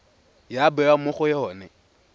ya bewa mo go yone